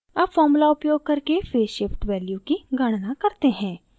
अब formula उपयोग करके फेज़ shift value की गणना करते हैं